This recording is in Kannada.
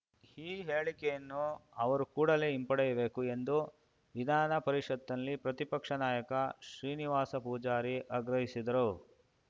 ಈ ಹೇಳಿಕೆಯನ್ನು ಅವರು ಕೂಡಲೇ ಹಿಂಪಡೆಯಬೇಕು ಎಂದು ವಿಧಾನ ಪರಿಷತ್‌ನಲ್ಲಿ ಪ್ರತಿಪಕ್ಷ ನಾಯಕ ಶ್ರೀನಿವಾಸ ಪೂಜಾರಿ ಆಗ್ರಹಿಸಿದರು